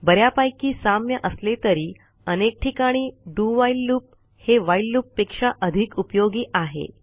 ब यापैकी साम्य असले तरी अनेक ठिकाणी do व्हाईल लूप हे व्हाईल loopपेक्षा अधिक उपयोगी आहे